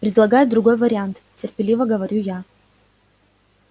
предлагай другой вариант терпеливо говорю я